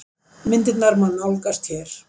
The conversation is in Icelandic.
Myndirnar má nálgast hér